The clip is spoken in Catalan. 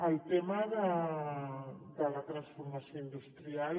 el tema de la transformació industrial